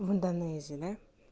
в индонезии да